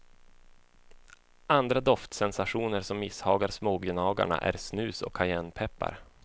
Andra doftsensationer som misshagar smågnagarna är snus och kajennpeppar.